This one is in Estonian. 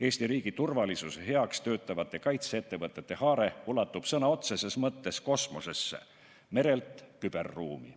Eesti riigi turvalisuse nimel töötavate kaitseettevõtete haare ulatub sõna otseses mõttes kosmosesse, merelt küberruumi.